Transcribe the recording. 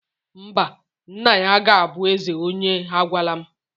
Mba, nna ya ga-abụ eze onye agwala m